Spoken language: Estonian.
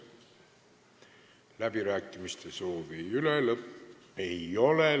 Läbirääkimiste soovi ei ole.